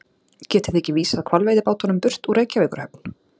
Getið þið ekki vísað hvalveiðibátunum burt úr Reykjavíkurhöfn?